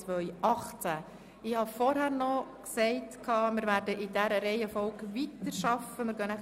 Ich habe vorhin gesagt, dass wir in dieser Reihenfolge weiterarbeiten werden.